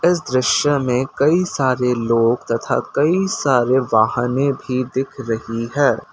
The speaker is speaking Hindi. इस दृश्य में कई सारे लोग तथा कई सारे वाहने भी दिख रही है।